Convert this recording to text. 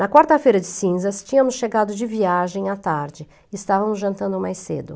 Na quarta-feira de cinzas, tínhamos chegado de viagem à tarde e estávamos jantando mais cedo.